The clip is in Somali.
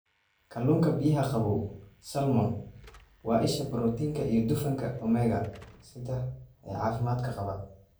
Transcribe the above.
Kalluunka biyaha qabow (Salmon): Waa isha borotiinka iyo dufanka omega-3 ee caafimaadka qaba.